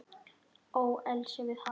Ölselja við hafið